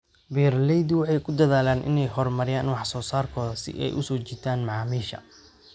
Beeraleydu waxay ku dadaalaan inay horumariyaan wax soo saarkooda si ay u soo jiitaan macaamiisha.